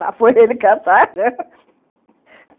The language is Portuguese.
Lá foi ele caçar rã